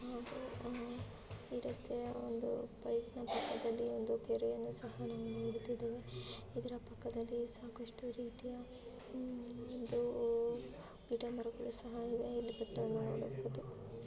ಹಾಗೂ ಅಹ್ ಈ ರಸ್ತೆಯ ಒಂದು ಬೈಕ್ ನ ಪಕ್ಕದಲ್ಲಿ ಒಂದು ಕೆರೆಯನ್ನು ಸಹ ನಾವು ನೋಡುತ್ತಿದ್ದೇವೆ ಇದರ ಪಕ್ಕದಲ್ಲಿ ಸಾಕಷ್ಟು ರೀತಿಯ ಉಮ್ ಒಂದು ಗಿಡ ಮರಗಳು ಸಹ ಇವೆ ಇಲ್ಲಿ ಬೆಟ್ಟವನ್ನು ನೋಡಬಹುದು.